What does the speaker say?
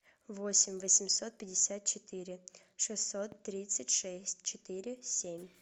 восемь восемьсот пятьдесят четыре шестьсот тридцать шесть четыре семь